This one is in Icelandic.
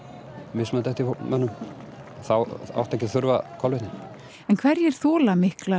mismunandi eftir mönnum þá áttu ekki að þurfa kolvetni en hverjir þola mikla